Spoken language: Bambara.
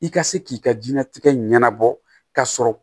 I ka se k'i ka diɲɛnatigɛ ɲɛnabɔ ka sɔrɔ